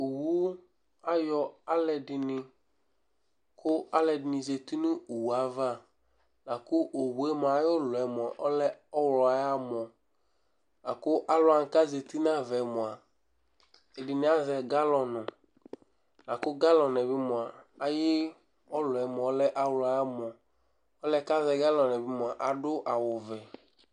Owu ayɔ alʋɛdɩnɩ kʋ alʋɛdɩnɩ zati nʋ owu yɛ ava la kʋ owu yɛ mʋa, ayʋ ʋlɔ yɛ lɛ ɔɣlɔ ayʋ amɔ la kʋ alʋ wanɩ kʋ azati nʋ ava yɛ mʋa, ɛdɩnɩ azɛ galɔnɩ la kʋ galɔnɩ bɩ mʋa, ayʋ ʋlɔ yɛ lɛ ɔɣlɔ ayʋ amɔ, ɔlʋ yɛ kʋ azɛ galɔnɩ yɛ bɩ mʋa, adʋ awʋvɛ